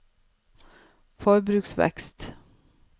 forbruksvekst